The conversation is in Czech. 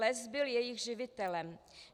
Les byl jejich živitelem.